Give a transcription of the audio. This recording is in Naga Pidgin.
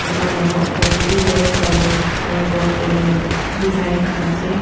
dukan laka opor de bi yellow colour signboard te design ase.